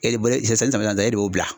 E bolo esansi jamana ta e de y'o bila